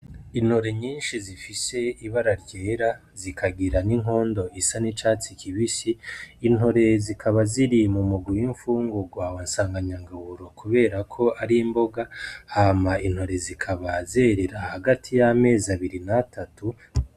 Intore nyinshi zifise ibara ryera, zikagira n'inkondo isa n'icatsi kibisi, intore zikaba ziri mu mugwi w'imfungurwa wa sanganyangaburo kubera ko ari imboga, hama intore zikaba zerera hagati y'amezi abiri n'atatu.